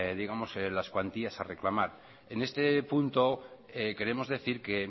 digamos las cuantías a reclamar en este punto queremos decir que